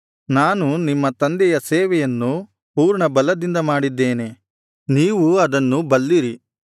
ನಾನು ನಿಮ್ಮ ತಂದೆಯ ಸೇವೆಯನ್ನು ಪೂರ್ಣಬಲದಿಂದ ಮಾಡಿದ್ದೇನೆ ನೀವೂ ಅದನ್ನು ಬಲ್ಲಿರಿ